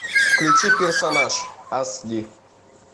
включи персонаж ас ди